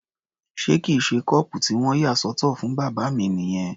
Ṣé kìí ṣe kọ́ọ̀pù tí wọ́n yà sọ́tọ̀ fún bàbá mi nìyẹn?